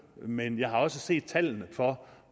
men jeg har også set tallene for